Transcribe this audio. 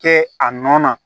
Kɛ a nɔ na